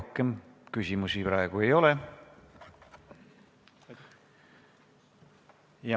Teile küsimusi praegu ei ole.